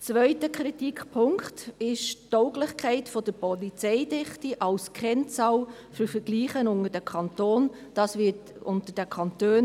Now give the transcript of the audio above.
Der zweite Kritikpunkt ist die Tauglichkeit der Polizeidichte als Kennzahl für Vergleiche zwischen den Kantonen.